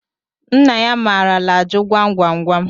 Nna ya maara ajụ gwam gwam gwam